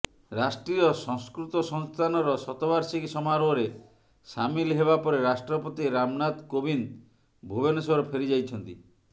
ରାଷ୍ଟ୍ରୀୟ ସଂସ୍କୃତ ସଂସ୍ଥାନର ଶତବାର୍ଷିକୀ ସମାରୋହରେ ସାମିଲ ହେବା ପରେ ରାଷ୍ଟ୍ରପତି ରାମନାଥ କୋବିନ୍ଦ ଭୁବନେଶ୍ବର ଫେରି ଯାଇଛନ୍ତି